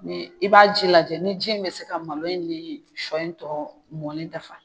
Ni i b'a ji lajɛ ni ji in be se ka malo in ni sɔ in tɔ mɔni dafa.